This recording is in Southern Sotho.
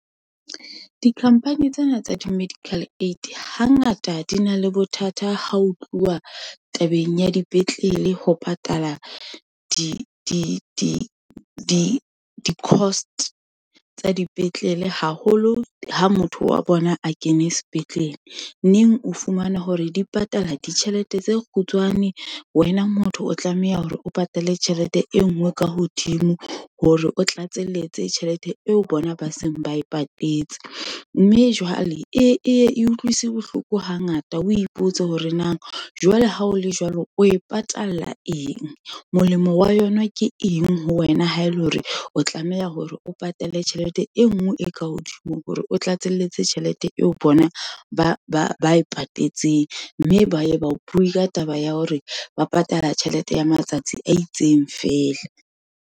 Di-company tsena tsa di-medical aid, hangata di na le bothata ha ho tluwa tabeng ya dipetlele, ho patala di-cost tsa dipetlele, haholo ha motho wa bona a kene sepetlele, neng o fumana hore dipatala ditjhelete tse kgutshwane, wena motho o tlameha hore o patale tjhelete e nngwe ka hodimo, hore o tlatselletse tjhelete eo bona ba seng ba e patetse, mme jwale e ye e utlwisa bohloko hangata, wo ipotse hore na jwale ha o le jwalo, o e patalla eng. Molemo wa yona ke eng ho wena, ha ele hore o tlameha hore o patale tjhelete e nngwe e ka hodimo, hore o tlatselletse tjhelete eo bona ba e patetseng. Mme ba ye ba o bue ka taba ya hore, ba patala tjhelete ya matsatsi a itseng feela.